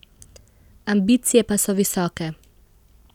Ambicije pa so visoke.